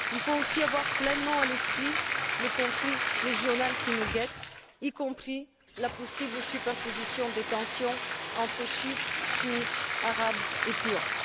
Il faut aussi avoir pleinement à l'esprit le conflit régional qui nous guette, y compris la possible superposition des tensions entre chiites, sunnites, arabes et Kurdes.